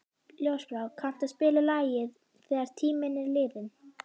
Ljósbrá, kanntu að spila lagið „Þegar tíminn er liðinn“?